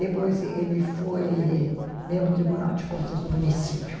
Depois ele foi membro do Tribunal de Contas do município.